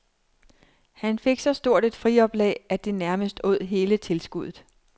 Han fik så stort et frioplag, at det nærmest åd hele tilskuddet.